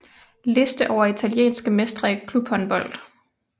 Liste over italienske mestre i klubhåndbold